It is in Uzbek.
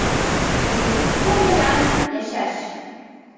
Hozirgi kun bilan yashash.